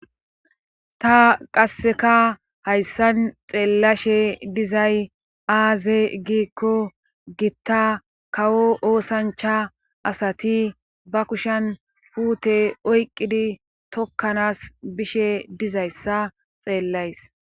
Ta qasseka hayssan xeellashe dizay aaze giikko gitta kawo oosancha asati ba kushan puute oyqqidi tokkanas bishe dizayssa xeellays